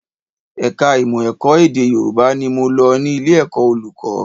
Ẹ̀ka ìmọ̀ ẹ̀kọ́ èdè Yòrùbá ni mo lọ ní ilé ẹ̀kọ́ olùkọ́